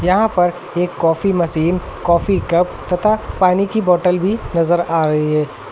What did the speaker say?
यहां पर एक कॉफी मशीन कॉफी कप तथा पानी की बॉटल भी नजर आ रही है।